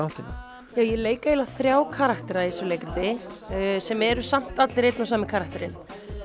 áttina ég leik eiginlega þrjá karaktera í þessu leikriti sem eru samt alir einn og sami karakterinn